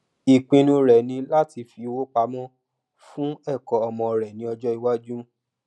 ìpinnu rẹ ni láti fi owó púpọ pamọ fún ẹkọ ọmọ rẹ ní ọjọ iwájú